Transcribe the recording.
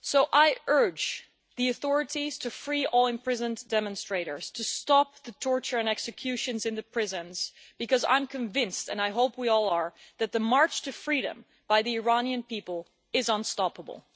I urge the authorities to free all imprisoned demonstrators and to stop the torture and executions in the prisons, because I am convinced and I hope we all are that the march to freedom by the Iranian people is unstoppable.